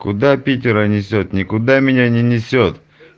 куда питера несёт никуда меня не несёт